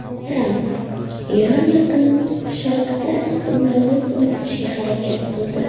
Tramp: Eron Yaqin Sharqda hukmronlik o‘rnatishga harakat qildi.